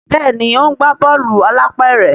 Béèni o ńgba Bọ́ọ̀lù alápẹ̀rẹ̀.